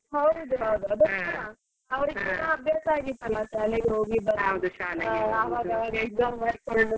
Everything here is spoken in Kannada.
ಹೌದು ಹೌದು ಅವ್ರಿಗೂ ಕೂಡ ಅಭ್ಯಾಸ ಆಗಿತ್ತಲ್ಲ ಶಾಲೆಗೆ ಹೋಗಿ ಬರೋದು ಅವಾಗವಾಗ exam .